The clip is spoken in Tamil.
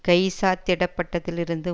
கைச்சாத்திடப்பட்டதிலிருந்து